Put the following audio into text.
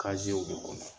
de kɔnɔ